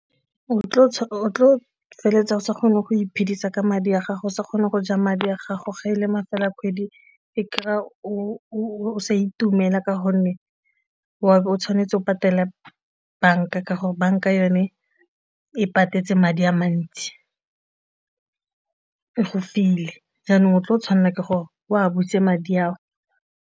O tlo feleletsa o sa kgone go iphedisa ka madi a gago se kgone go ja madi a gago ge e le mafelo a kgwedi e kry-a o sa itumela ka gonne wa bo o tshwane tshwanetse o patele banka ka gore banka yone e patetse madi a mantsi, e go file jaanong o tle o tshwanela ke gore o a butse madi ao.